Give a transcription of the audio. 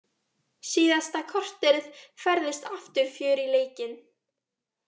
Síðasta korterið færðist aftur fjör í leikinn.